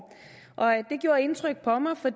det gjorde indtryk på mig for